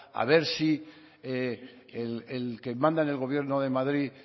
a ver si el que manda en el gobierno de madrid